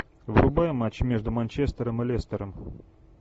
врубай матч между манчестером и лестером